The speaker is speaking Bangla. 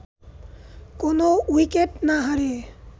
কোনো উইকেট না হারিয়ে